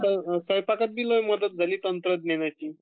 स्वयंपाकातही मदत झाली तंत्रज्ञानाची